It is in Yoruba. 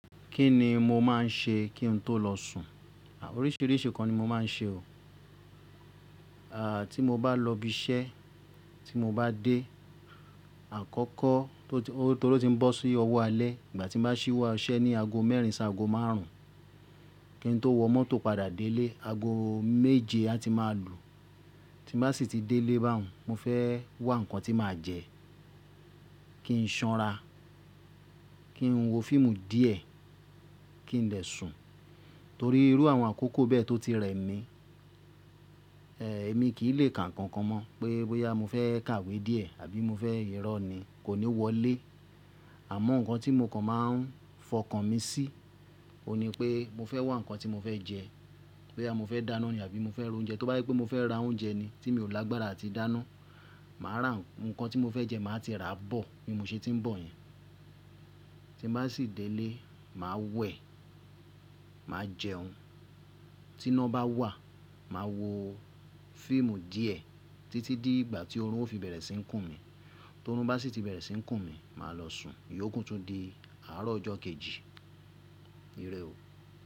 Kí ni mo máa ń ṣe kí n tó lọ sùn? Oríṣìíríṣìí nkan ni mo máa ń ṣe o. À, tí mo bá lọ ibi iṣẹ́, tí mo bá dé àkọ́kọ́, torí ó ti ń bọ́ sí ọwọ́ alẹ́, ìgbà tí mo bá ṣíwọ́ iṣẹ́ ní ago mẹ́rin san ago márùn ún, kí n tó wọ mọ́tò padà délé, ago méje a ti máa lù. Tí mo bá sì ti délé bá hun, mo fẹ́ wá ǹkan tí màá jẹ, kí n sanra, kí n wo fíìmù díẹ̀ kí n dè sùn. Torí irú àwọn àkókò bẹ́ẹ̀ tó ti rẹ mi, ẹ, èmi kì í lè kà nkankan mọ̀ pé bóyá mo fẹ́ kàwé díẹ̀ àbí mo fẹ́ rọ́ ni, kò ní wọlé. Àmọ́ ǹkan tí mo kan máa ń fọkàn mi sí, òun ni pé mo fẹ́ wá ǹkan tí mo fẹ́ jẹ, bóyá mo fẹ́ dáná ni àbí mo fẹ́ roúnjẹ. Tóbá jé pé mo fẹ́ ra oúnjẹ ni tí mi ò lágbára àti dáná, màá ra ǹkan tí mo fẹ́ jẹ, màá ti rà á bọ̀ bí mo ṣe tí ń bọ̀ yẹn. Tí mo bá sì délé, màá wẹ̀, màá jẹun, tí iná bá wà, màá wo fíìmù díẹ̀ títí di ìgbà tí orun ó fi bẹ̀rẹ̀ sí í kùn mí. Torun bá sì ti bẹ̀rẹ̀ sí í kùn mí, màá lọ sùn. Yóò kún tó di àárọ̀ ọjọ́ kejì. Irẹ o.